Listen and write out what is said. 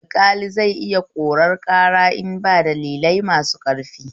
Alƙali zai iya korar ƙara idan ba dalilai masu ƙarfi